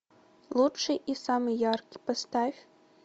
лучший и самый яркий поставь